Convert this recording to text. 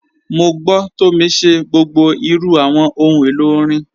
Mọ̀ gbọ́ Tomì ṣẹ̀ gbogbo irù awọn ọ̀hun èlo orin.